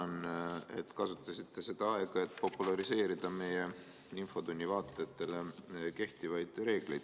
Ma tänan, et kasutasite seda aega, et populariseerida meie infotunni vaatajate seas kehtivaid reegleid.